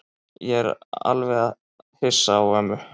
Ég er alveg hissa á ömmu.